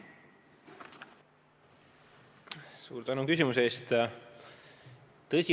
Suur tänu küsimuse eest!